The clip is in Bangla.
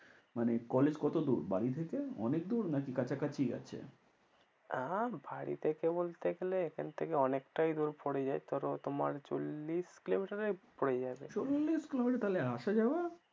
মানে college কতদূর বাড়ি থেকে অনেক দূর নাকি কাছাকাছিই আছে? বাড়ি থেকে বলতে গেলে এখান থেকে অনেকটাই দূর পরে যায় ধরো তোমার চল্লিশ kilometer এ পড়ে যাবে। চল্লিশ kilometer তাহলে আসা যাওয়া?